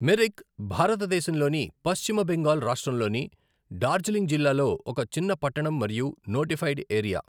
మిరిక్ భారతదేశంలోని పశ్చిమ బెంగాల్ రాష్ట్రంలోని డార్జిలింగ్ జిల్లాలో ఒక చిన్న పట్టణం మరియు నోటిఫైడ్ ఏరియా.